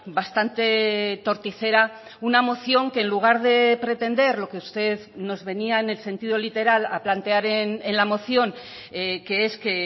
bastante torticera una moción que en lugar de pretender lo que usted nos venía en el sentido literal a plantear en la moción que es que